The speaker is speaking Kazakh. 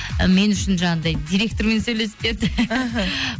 і мен үшін жаңағындай директормен сөйлесіп берді іхі